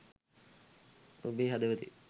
ඔබේ හදවතේ